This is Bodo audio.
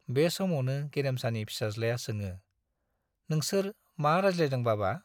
बे समावनो गेरेमासानि फिसाज्लाया सोङो, नोंसोर मा रायज्लायदों बाबा ?